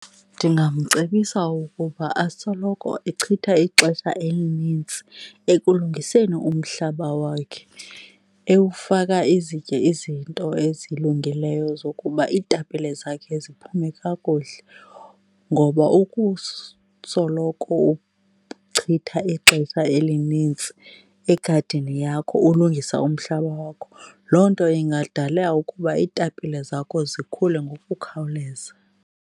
Ndingamcebisa ukuba asoloko echitha ixesha elinintsi ekulungiseni umhlaba wakhe ewufaka izitye izinto ezilungileyo zokuba iitapile zakhe ziphume kakuhle. Ngoba uchitha ixesha elinintsi egadini yakho ulungisa umhlaba wakho, loo nto ingadala ukuba iitapile zakho zikhule ngokukhawuleza.